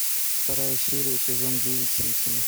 вторая серия сезон девять симпсоны